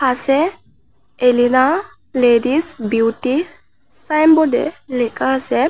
আসে Elina ladies beauty signboard এ লেখা আসে।